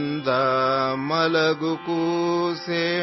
सो जाओ सो जाओ